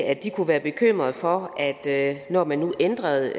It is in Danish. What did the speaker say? at de kunne være bekymrede for at når man nu ændrede